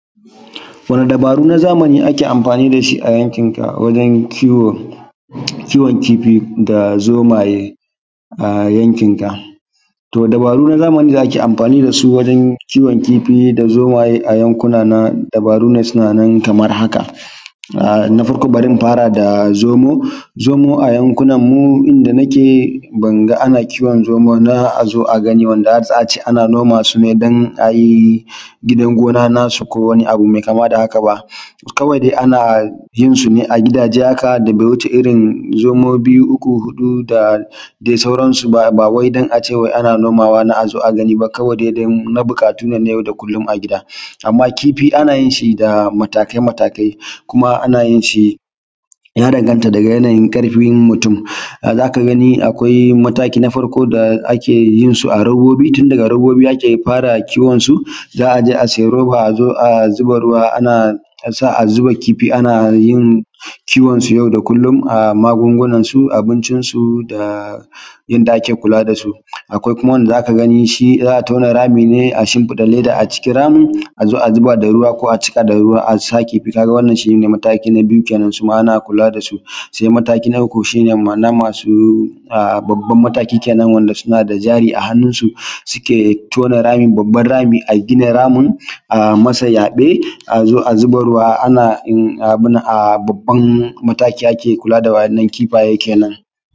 Wani dabaru na zamani ake amfani da shi wajen kiwo, kiwon kifi da zomaye a yankinka. To dabaru na zamani da ake amfani da su wajen kiwon kifi da zomaye a yankuna na dabaru ne suna nan kaman haka. Na farko bari in fara da zomo, zomo a yankina mu inda na ke, ban ga ana kiwon zomo na a zo a gani ba wanda har za a ce a noma su dan ayi, gidan gona na su, ko wani abu mai kama da haka ba, kawai da ana yinsu ne a gidaje haka da bai wuce irin zomo biyu, uku, huɗu da dai sauransu ba. bawai dan ace ana nomawa na azo gani ba, kawai dai dan na buƙatu na yau da kullum a gida. Amma kifi ana yin shi da matakai-matakai, kuma ana yin shi, ya danganta daga yanayin ƙarfin mutum za ka gani akwai mataki na farko da ake yin su a robobi tun daga robobi ake fara kiwonsu. Za a je a siya roba a zo a zuba ruwa a sa ana zuba kifi ana yin, kiwonsu yau da kullum, magungunansu, abincinsu da, yanda ake kula da su. akwai kuma wanda za ka gani za a tuna rami ne a shimfiɗa leda a cikin ramin a zo a zuba ruwa ko a cika da ruwa, wannan shi ne mataki na biyu kenan suma ana kula da su. Sai mataki na uku, shi ne na masu babban mataki kenan wanda suna da jari a hannunsu, suke tuna rami babban rami a gina ramin a masa sa yaɓe a zo a zuba ruwa a babban mataki a kula da waʲannan ki:ɸajen kenan